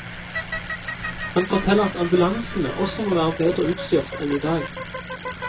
Han forteller at ambulansene også må være bedre utstyrt enn i dag.